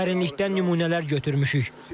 Dərinlikdən nümunələr götürmüşük.